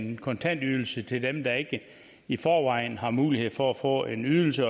en kontantydelse til dem der ikke i forvejen har mulighed for at få en ydelse